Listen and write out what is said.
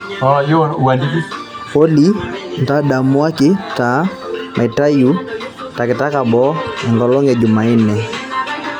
Olly ntadamuaki taa maitayu takitaka boo enkolong e jumanne